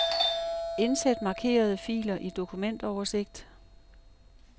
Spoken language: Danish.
Indsæt markerede filer i dokumentoversigt.